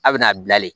A bɛna bila de